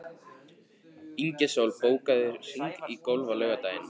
Ingisól, bókaðu hring í golf á laugardaginn.